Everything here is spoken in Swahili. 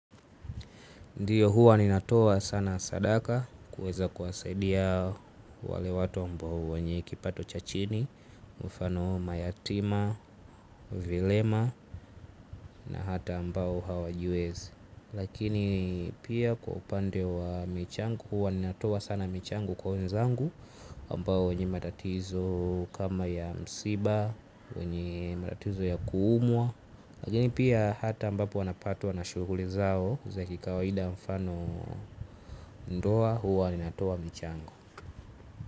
Ndiyo huwa ninatoa sana sadaka kuweza kuwasaidia wale watu ambao wenye kipato cha chini, mfano mayatima, vilema na hata ambao hawajiwezi. Lakini pia kwa upande wa michango huwa ninatoa sana michango kwa wenzangu ambao wanye matatizo kama ya msiba, wenye matatizo ya kuumwa. Lakini pia hata ambapo wanapatwa na shughuli zao. Kwa kikawaida mfano ndoa huwa ninatoa mchango.